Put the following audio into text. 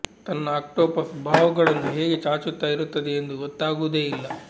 ತನ್ನ ಆಕ್ಟೋಪಸ್ ಬಾಹುಗಳನ್ನು ಹೇಗೆ ಚಾಚುತ್ತ ಇರುತ್ತದೆ ಎಂದು ಗೊತ್ತಾಗುವುದೇ ಇಲ್ಲ